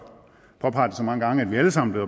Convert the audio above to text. påpeget det så mange gange at vi alle sammen er